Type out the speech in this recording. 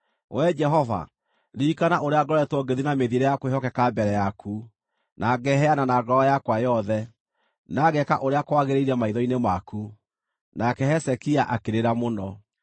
“Wee Jehova, ririkana ũrĩa ngoretwo ngĩthiĩ na mĩthiĩre ya kwĩhokeka mbere yaku, na ngeheana na ngoro yakwa yothe, na ngeeka ũrĩa kwagĩrĩire maitho-inĩ maku.” Nake Hezekia akĩrĩra mũno.